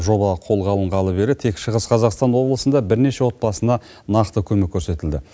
жоба қолға алынғалы бері тек шығыс қазақстан облысында бірнеше отбасына нақты көмек көрестілді